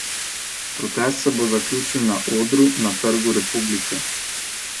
Protest se bo zaključil na odru na Trgu republike.